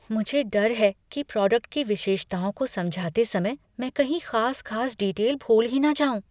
मुझे डर है कि प्रोडक्ट की विशेषताओं को समझाते समय मैं कहीं खास खास डीटेल भूल ही न जाऊँ।